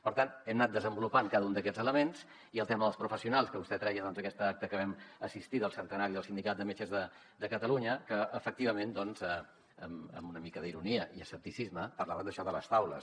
per tant hem anat desenvolupant cada un d’aquests elements i el tema dels professionals que vostè treia aquest acte al qual vam assistir del centenari del sindicat de metges de catalunya que efectivament amb una mica d’ironia i escepticisme parlàvem d’això de les taules